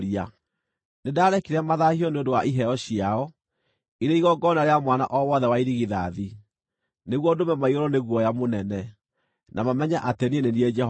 nĩndarekire mathaahio nĩ ũndũ wa iheo ciao, irĩ igongona rĩa mwana o wothe wa irigithathi, nĩguo ndũme maiyũrwo nĩ guoya mũnene, na mamenye atĩ niĩ nĩ niĩ Jehova.’